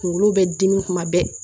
Kunkolo bɛ dimi kuma bɛɛ